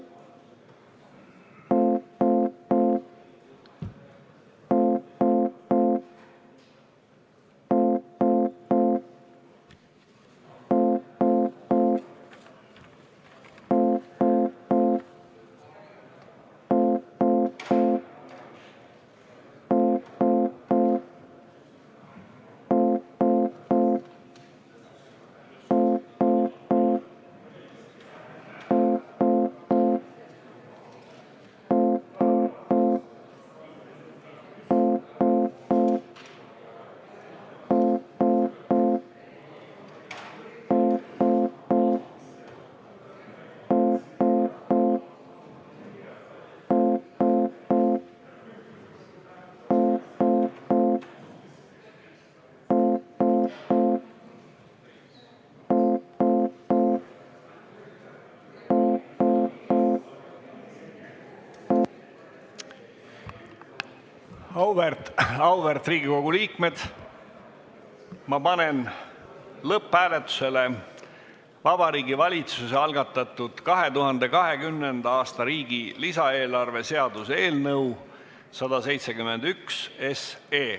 Auväärt Riigikogu liikmed, panen lõpphääletusele Vabariigi Valitsuse algatatud riigi 2020. aasta lisaeelarve seaduse eelnõu 171.